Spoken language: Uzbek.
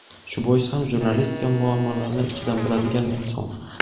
shu bois ham jurnalistika muammolarini ichidan biladigan inson.